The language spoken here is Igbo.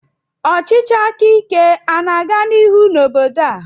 Ọchịchị aka ike ana-aga n'ihu na obodo a?